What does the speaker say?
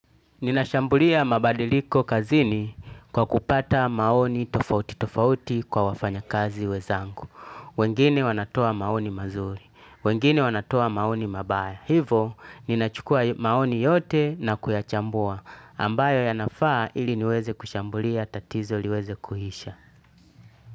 Ninashambulia mabadiliko kazini kwa kupata maoni tofauti tofauti kwa wafanya kazi wezangu. Wengine wanatoa maoni mazuri. Wengine wanatoa maoni mabaya. Hivo, ninachukua maoni yote na kuyachambua. Ambayo yanafaa ili niweze kushambulia tatizo liweze kuisha.